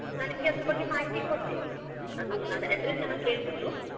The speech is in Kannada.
ನಾನ್ ನಿಮ್ಗೆ ಆದರ ಬಗ್ಗೆ ಮಾಹಿತಿ ಕೊಡ್ತೀನಿ. ಅದು, address ನ ಕೇಳ್ಬಿಟ್ಟು.